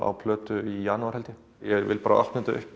á plötu í janúar held ég ég vill bara opna þetta upp